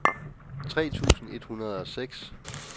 tre tusind et hundrede og seks